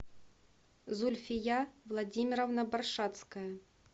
зульфия владимировна баршацкая